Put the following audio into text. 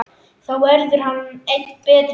Þá verður hann enn betri.